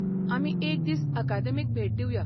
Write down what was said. आमी एक दीस अकादेमीक भेट दिवया!